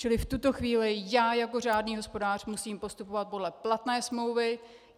Čili v tuto chvíli já jako řádný hospodář musím postupovat podle platné smlouvy.